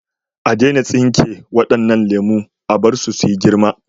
A daina tsinke wadannan lemu, a bar su su yi girma.